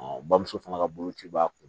bamuso fana ka boloci b'a kun